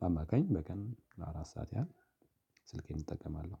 በአማካኝ በቀን ለአራት ሰዓት ያህል ስልኬን እጠቀማለሁ።